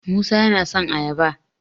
musa yana son ayaba